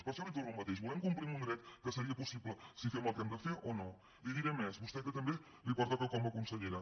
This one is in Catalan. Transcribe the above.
per això li torno al mateix volem complir amb un dret que seria possible si fem el que hem de fer o no li diré més a vostè que també li pertoca com a consellera